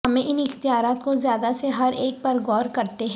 ہمیں ان اختیارات کو زیادہ سے ہر ایک پر غور کرتے ہیں